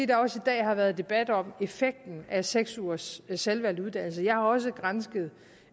der også i dag har været debat om effekten af seks ugers selvvalgt uddannelse jeg har også gransket